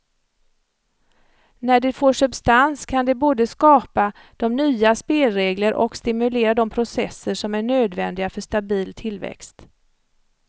När det får substans kan det både skapa de nya spelregler och stimulera de processer som är nödvändiga för stabil tillväxt.